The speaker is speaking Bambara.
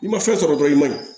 I ma fɛn sɔrɔ dɔrɔn i maɲi